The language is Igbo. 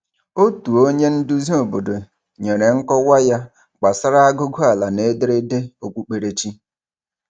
Otu onye nduzi obodo nyere nkọwa ya gbasara aguguala na ederede okpukperechi.